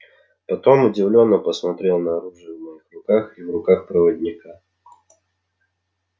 потом удивлённо посмотрел на оружие в моих руках и в руках проводника